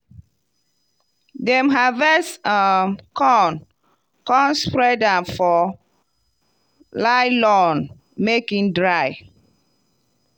dem harvest um corn come spread am for lylon make e dry.